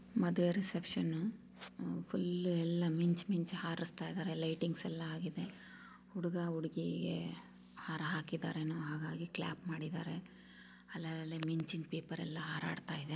ಮದುವೆ reception uh full ಎಲ್ಲ ಮಿಂಚ್-ಮಿಂಚ್ ಹಾರುಸ್ತಾಇದ್ದಾರೆ. ಲೈಟಿಂಗ್ಸ್ ಎಲ್ಲ ಆಗಿದೆ ಹುಡುಗ ಹುಡುಗಿ ಹಾರ ಹಾಕಿದರೇನೋ ಹಾಗಾಗಿ ಕ್ಲಾಪ್ ಮಾಡಿದ್ದಾರೆ ಅಲ್ -ಅಲ್ -ಅಲ್ಲೇ ಮಿಂಚಿನ್ ಪೇಪರ್ ಎಲ್ಲ ಹಾರಾಡ್ತಾ ಇದೆ.